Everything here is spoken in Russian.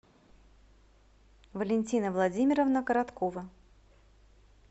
валентина владимировна короткова